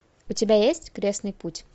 у тебя есть крестный путь